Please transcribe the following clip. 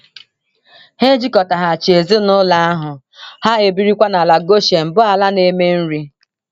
E jikọtaghachi ezinụlọ ahụ, ha ebirikwa n’ala Goshen bụ́ ala na - eme nri.